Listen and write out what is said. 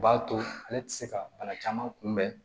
O b'a to ale tɛ se ka bana caman kun bɛn